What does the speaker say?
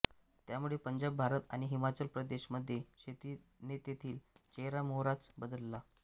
त्यामुळे पंजाब भारत आणि हिमाचल प्रदेश मध्ये शेती ने तेथील चेहरा मोहराच बदलला